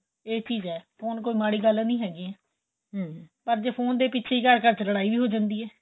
ਏਹ ਚੀਜ ਏ ਫੋਨ ਕੋਈ ਮਾੜੀ ਗੱਲ ਨਹੀਂ ਹੈਗੀ ਏ ਪਰ ਜ਼ੇ ਫੋਨ ਦੇ ਪਿਛੇ ਹੀ ਘਰ ਘਰ ਵਿੱਚ ਲੜਾਈ ਹੋ ਜਾਂਦੀ ਏ